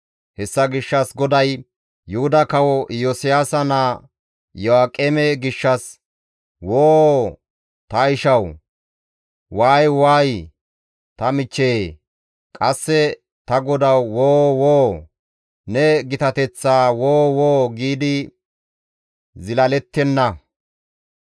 Hessa gishshas GODAY Yuhuda Kawo Iyosiyaasa naa Iyo7aaqeme gishshas, «Woo ta ishawu! Waay waay ta michchee! Qasse, ‹Ta godawu woo woo! Ne gitateththaa woo woo!› giidi zilalettenna.